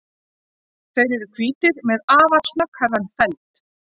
Þeir eru hvítir með afar snögghærðan feld.